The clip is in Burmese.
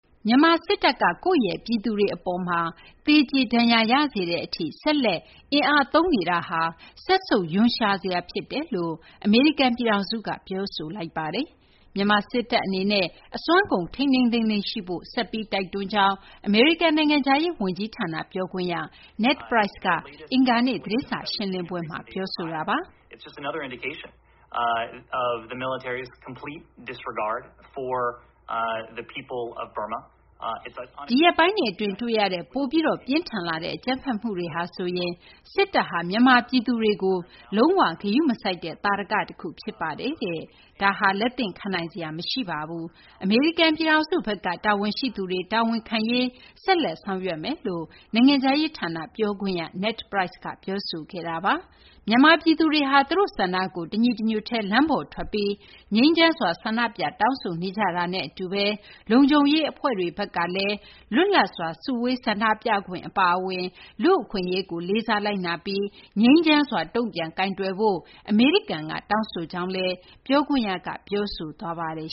မြန်မာ စစ်တပ်က ကိုယ့်ပြည်သူတွေ အပေါ်မှာ သေကြေ ဒဏ်ရာရစေတဲ့ အထိ ဆက်လက် အင်အားသုံးနေတာဟာ စက်ဆုပ် ရွံရှာစရာ ဖြစ်တယ်လို့ အမေရိကန် ပြည်ထောင်စုက ပြောဆိုလိုက်ပါတယ်။ မြန်မာ စစ်တပ် အနေနဲ့ အစွမ်းကုန် ထိန်းထိန်းသိမ်းသိမ်း ရှိဖို့ ဆက်ပြီး တိုက်တွန်းကြောင်း အမေရိကန် နိုင်ငံခြားရေး ဌာန ပြောခွင့်ရ Ned Price က အင်္ဂါနေ့ သတင်းစာ ရှင်းလင်းပွဲမှာ ပြောပါတယ်။ "ဒီရက်ပိုင်းတွေ အတွင်း တွေ့ရတဲ့ ပိုပြီး ပြင်းထန်လာတဲ့ အကြမ်းဖက်မှုတွေဟာဆိုရင် စစ်တပ်ဟာ မြန်မာ ပြည်သူတွေကို လုံး၀ ဂရုမစိုက်တဲ့ သာဓက တခု ဖြစ်ပါတယ်။ ဒါဟာ လက်သင့်ခံနိုင်စရာ မရှိပါဘူး။ အမေရိကန် ပြည်ထောင်စုဘက်က တာဝန်ရှိသူတွေ တာဝန်ခံရေး ဆက်လက် ဆောင်ရွက်သွားမယ်" လို့ နိုင်ငံခြားရေး ဌာန ပြောခွင့်ရ Ned Price က ပြောဆိုခဲ့တာပါ။ မြန်မာ ပြည်သူတွေဟာ သူတို့ ဆန္ဒကို တညီတညွတ်တည်း လမ်းပေါ်ထွက်ပြီး ငြိမ်းချမ်းစွာ ဆန္ဒပြ တောင်းဆိုနေကြတာနဲ့ အတူဘဲ လုံခြုံရေး အဖွဲ့တွေ ဘက်ကလည်း လွတ်လပ်စွာ စုဝေး ဆန္ဒပြခွင့် အပါအဝင် လူ့အခွင့်အရေးကို လေးစားလိုက်နာပြီး ငြိမ်းချမ်းစွာ တုံ့ပြန်ဖို့ အမေရိကန် က တောင်းဆိုကြောင်းလည်း ပြောခွင့်ရက ပြောဆိုခဲ့ပါတယ်